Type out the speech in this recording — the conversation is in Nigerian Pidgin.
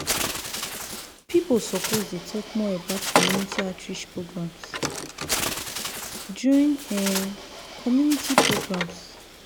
people suppose dey talk more about community outreach programs during um community programs.